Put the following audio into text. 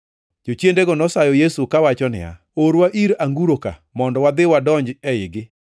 Jochiendego nosayo Yesu kawacho niya, “Orwa ir anguro ka mondo wadhi wadonj eigi.”